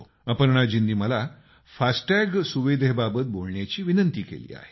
अपर्णाजींनी मला फास्टॅग सुविधेबाबत बोलण्याचा आग्रह केला आहे